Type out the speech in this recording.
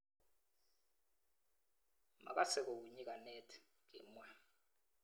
Makasei kou nyikanet,"kimwa.